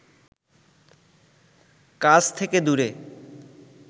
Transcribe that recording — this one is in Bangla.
কাজ থেকে দূরে